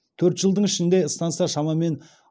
төрт жылдың ішінде станса шамамен